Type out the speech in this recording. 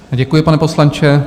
Děkuji, pane poslanče.